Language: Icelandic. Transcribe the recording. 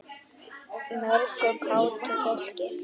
Mörgu kátu fólki.